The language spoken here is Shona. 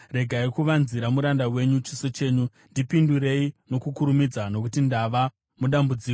Regai kuvanzira muranda wenyu chiso chenyu; ndipindurei nokukurumidza, nokuti ndava mudambudziko.